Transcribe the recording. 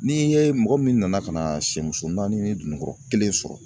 Ni ye mɔgɔ min nana ka na sɛmuso naani ni dununkɔrɔ kelen sɔrɔ